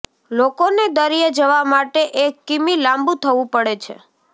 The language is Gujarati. લોકોને દરિયે જવા માટે એક કિમી લાંબુ થવું પડે છે